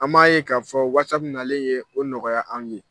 An m'a ye k'a fɔ ko nalen ye o nɔgɔya anw ye.